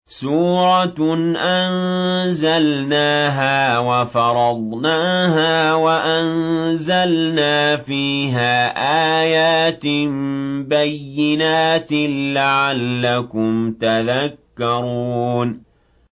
سُورَةٌ أَنزَلْنَاهَا وَفَرَضْنَاهَا وَأَنزَلْنَا فِيهَا آيَاتٍ بَيِّنَاتٍ لَّعَلَّكُمْ تَذَكَّرُونَ